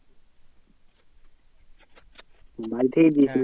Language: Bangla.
বাড়ি থেকে দিয়েছিলো